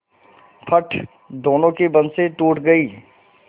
फट दोनों की बंसीे टूट गयीं